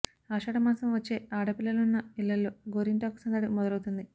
ఆషాఢమాసం వచ్చే ఆడ పిల్లలున్న ఇళ్ళలో గోరింటాకు సందడి మొదల వుతుంది